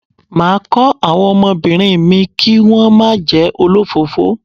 Máa kọ́ àwọn ọmọbìnrin mi kí wón má jẹ́ olọ́fọ̀ọ́fọ́.